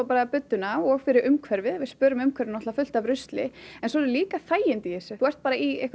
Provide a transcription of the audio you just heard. budduna og fyrir umhverfið við spörum umhverfinu fullt af rusli en svo eru líka þægindi í þessu þú ert bara í